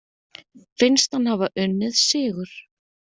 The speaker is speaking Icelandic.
Finnst hann hafa unnið sigur.